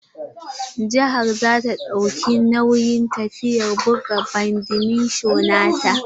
Jihar za ta dauki nauyin tafiyar buga badminto na ta.